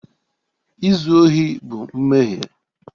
Izu ohi bụ mmehie